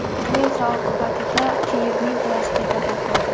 Bu esa oqibatda Kiyevning qulashiga sabab bo‘ldi.